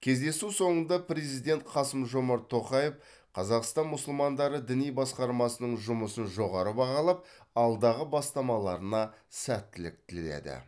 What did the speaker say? кездесу соңында президент қасым жомарт тоқаев қазақстан мұсылмандары діни басқармасының жұмысын жоғары бағалап алдағы бастамаларына сәттілік тіледі